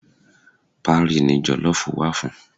Parí ni jọ̀lọ́ọ̀fù wà fún